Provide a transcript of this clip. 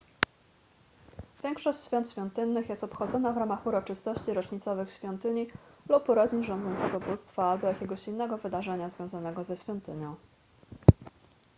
większość świąt świątynnych jest obchodzona w ramach uroczystości rocznicowych świątyni lub urodzin rządzącego bóstwa albo jakiegoś innego wydarzenia związanego ze świątynią